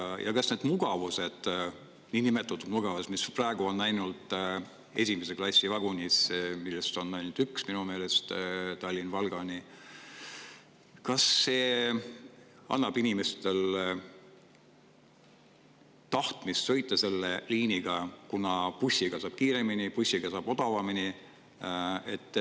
Kuna bussiga saab kiiremini, odavamini, siis kas need niinimetatud mugavused, mis praegu on ainult esimese klassi vagunis, mida on minu meelest ainult üks, Tallinnast Valgani, annavad inimestele tahtmist sõita selle liiniga?